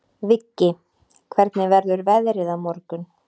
Viggi, hvernig verður veðrið á morgun?